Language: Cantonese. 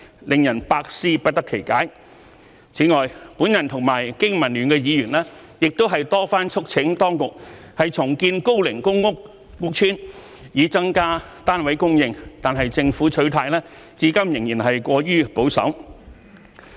令人百思不得其解。此外，我和香港經濟民生聯盟的議員亦多番促請當局重建高齡公屋屋邨以增加單位供應，但政府取態至今仍是過於保守。